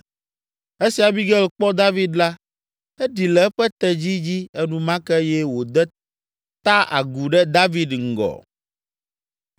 Esi Abigail kpɔ David la, eɖi le eƒe tedzi dzi enumake eye wòde ta agu ɖe David ŋgɔ.